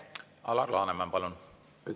Alar Laneman, palun!